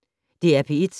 DR P1